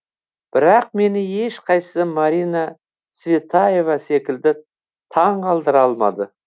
бірақ мені ешқайсы марина цветаева секілді таңғалдыра алмады